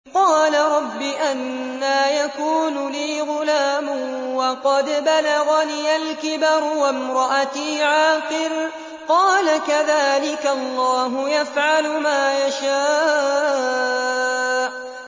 قَالَ رَبِّ أَنَّىٰ يَكُونُ لِي غُلَامٌ وَقَدْ بَلَغَنِيَ الْكِبَرُ وَامْرَأَتِي عَاقِرٌ ۖ قَالَ كَذَٰلِكَ اللَّهُ يَفْعَلُ مَا يَشَاءُ